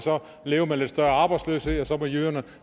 leve med lidt større arbejdsløshed og så får jyderne